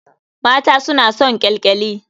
Mata suna son ƙyalƙyali.